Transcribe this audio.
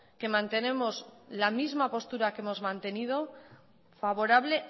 que mantenemos la misma postura que hemos mantenido favorable